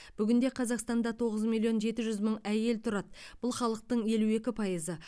бүгінде қазақстанда тоғыз миллион жеті жүз мың әйел тұрады бұл халықтың елу екі пайызы